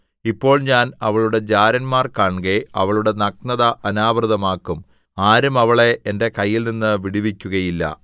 ഇപ്പോൾ ഞാൻ അവളുടെ ജാരന്മാർ കാൺകെ അവളുടെ നഗ്നത അനാവൃതമാക്കും ആരും അവളെ എന്റെ കൈയിൽനിന്ന് വിടുവിക്കുകയില്ല